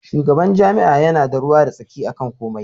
Shugaban jami'a yana da ruwa da tsaki akan komai.